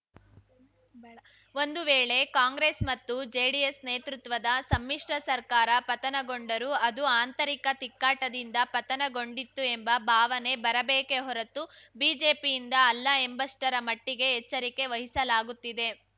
ಒಂದು ವೇಳೆ ಕಾಂಗ್ರೆಸ್‌ ಮತ್ತು ಜೆಡಿಎಸ್‌ ನೇತೃತ್ವದ ಸಮ್ಮಿಶ್ರ ಸರ್ಕಾರ ಪತನಗೊಂಡರೂ ಅದು ಆಂತರಿಕ ತಿಕ್ಕಾಟದಿಂದ ಪತನಗೊಂಡಿತು ಎಂಬ ಭಾವನೆ ಬರಬೇಕೇ ಹೊರತು ಬಿಜೆಪಿಯಿಂದ ಅಲ್ಲ ಎಂಬಷ್ಟರ ಮಟ್ಟಿಗೆ ಎಚ್ಚರಿಕೆ ವಹಿಸಲಾಗುತ್ತಿದೆ